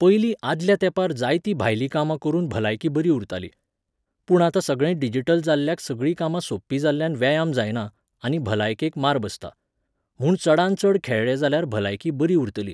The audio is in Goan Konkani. पयलीं आदल्या तेंपार जायतीं भायलीं कामां करून भलायकी बरी उरताली. पूण आता सगळें डिजिटल जाल्ल्याक सगळीं कामां सोंपी जाल्ल्यान व्यायाम जायना, आनी भलायकेक मार बसता. म्हूण चडान चड खेळ्ळे जाल्यार भलायकी बरी उरतली.